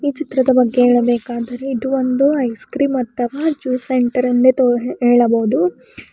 ಈ ಚಿತ್ರದ ಬಗ್ಗೆ ಹೇಳಬೇಕಾದರೆ ಇದು ಒಂದು ಐಸ್ ಕ್ರೀಂ ಅಥವಾ ಜ್ಯೂಸ್ ಸೆಂಟರ್ ಎಂದೇ ತೊ ಹೇಳಬಹುದು.